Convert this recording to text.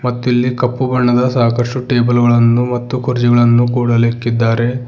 ಮತ್ತಿಲ್ಲಿ ಕಪ್ಪು ಬಣ್ಣದ ಸಾಕಷ್ಟು ಟೇಬಲ್ ಗಳನ್ನು ಮತ್ತು ಕುರ್ಚಿಗಳನ್ನು ಕೂಡ ಅಲ್ ಇಕ್ಕಿದ್ದಾರೆ.